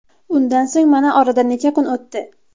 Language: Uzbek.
Undan so‘ng mana oradan necha kun o‘tdi.